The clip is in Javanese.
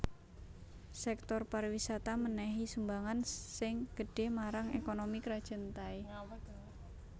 Sèktor pariwisata mènèhi sumbangan sing gedhé marang ékonomi Krajan Thai